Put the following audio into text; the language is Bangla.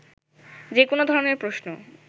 যেকোন ধরনের প্রশ্ন